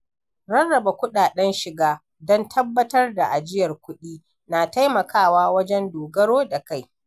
Rarraba kuɗaɗen shiga don tabbatar da ajiyar kudi na taimakawa wajen dogaro da kai.